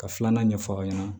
Ka filanan ɲɛf'aw ɲɛna